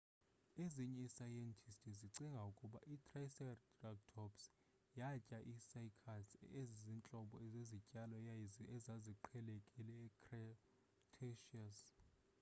ezinye iisayentisti zicinga ukuba itriceratops yatya ii-cycads ezizintlobo zezityalo ezaziqhelekile ecretaceous